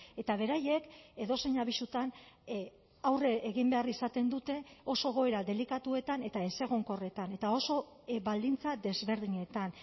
eta beraiek edozein abisutan aurre egin behar izaten dute oso egoera delikatuetan eta ezegonkorretan eta oso baldintza desberdinetan